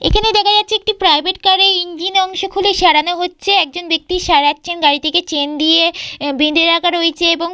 এখানে দেখা যাচ্ছে একটি প্রাইভেট কার এর ইঞ্জিন অংশ খুলে সরানো হচ্ছে একজন ব্যক্তি সারাচ্ছেন গাড়িটিকে চেন দিয়ে বেঁধে রাখা রয়েছে এবং--